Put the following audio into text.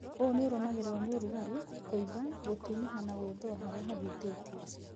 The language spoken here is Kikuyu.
ũ nĩũrũmagĩrĩrwo nĩ ũrugarĩ, kũimba, gũtunĩha na gwĩthũa harĩa hahutĩtio